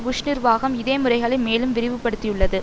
push நிர்வாகம் இதே முறைகளை மேலும் விரிவுபடுத்தியுள்ளது